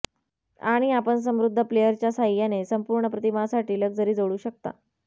आणि आपण समृद्ध प्लेअरच्या साहाय्याने संपूर्ण प्रतिमासाठी लक्झरी जोडू शकता